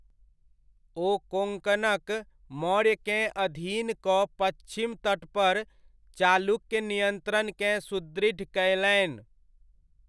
ओ कोङ्कणक मौर्यकेँ अधीन कऽ पच्छिम तटपर चालुक्य नियन्त्रणकेँ सुदृढ़ कयलनि।